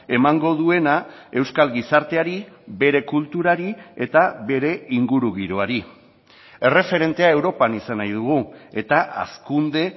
emango duena euskal gizarteari bere kulturari eta bere ingurugiroari erreferentea europan izan nahi dugu eta hazkunde